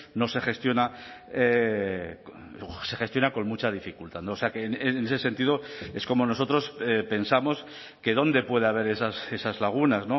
no se gestiona se gestiona con mucha dificultad o sea que en ese sentido es como nosotros pensamos que dónde puede haber esas lagunas